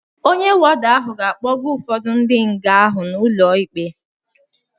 Ọnye wọda ahụ ga-akpọga ụfọdu ndi nga ahụ n' ụlo ịkpe